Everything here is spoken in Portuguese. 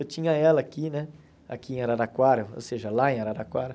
Eu tinha ela aqui né aqui em Araraquara, ou seja, lá em Araraquara.